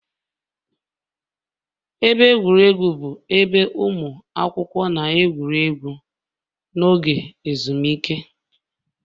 Ebe egwuregwu bụ ebe ụmụ akwụkwọ na-egwuri egwu n'oge ezumike